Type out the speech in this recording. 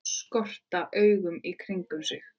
Skotra augunum í kringum mig.